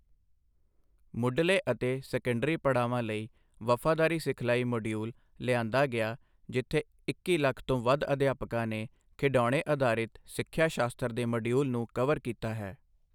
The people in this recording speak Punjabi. ਮੁਢੱਲੇ ਅਤੇ ਸੈਕੰਡਰੀ ਪੜਾਵਾਂ ਲਈ ਵਫ਼ਾਦਾਰੀ ਸਿਖਲਾਈ ਮੋਡੀਊਲ ਲਿਆਂਦਾ ਗਿਆ ਜਿੱਥੇ ਇੱਕੀ ਲੱਖ ਤੋਂ ਵੱਧ ਅਧਿਆਪਕਾਂ ਨੇ ਖਿਡੌਣੇ ਅਧਾਰਿਤ ਸਿੱਖਿਆ ਸ਼ਾਸਤਰ ਦੇ ਮਾਡਿਊਲ ਨੂੰ ਕਵਰ ਕੀਤਾ ਹੈ।